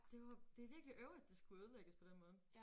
Det var det virkelig øv at det skulle ødelægges på den måde